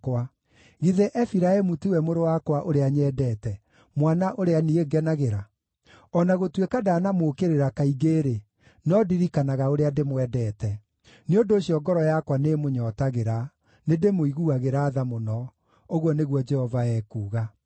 Githĩ Efiraimu tiwe mũrũ wakwa ũrĩa nyendete, mwana ũrĩa niĩ ngenagĩra? O na gũtuĩka ndanamũũkĩrĩra kaingĩ-rĩ, no ndirikanaga ũrĩa ndĩmwendete. Nĩ ũndũ ũcio ngoro yakwa nĩĩmũnyootagĩra; nĩndĩmũiguagĩra tha mũno,” ũguo nĩguo Jehova ekuuga.